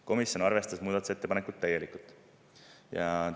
Komisjon arvestas muudatusettepanekut täielikult.